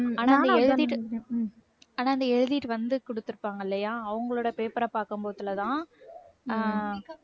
ஆன எழுதிட்டு வந்து கொடுத்திருப்பாங்க இல்லையா அவங்களோட paper அ பார்க்கும் போதுலதான் அஹ்